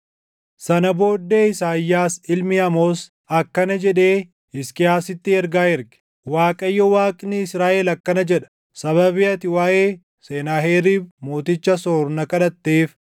Sana booddee Isaayyaas ilmi Amoos akkana jedhee Hisqiyaasitti ergaa erge; “ Waaqayyo Waaqni Israaʼel akkana jedha: Sababii ati waaʼee Senaaheriib mooticha Asoor na kadhatteef,